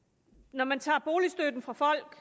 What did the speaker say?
når man tager boligstøtten fra folk